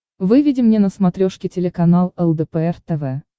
выведи мне на смотрешке телеканал лдпр тв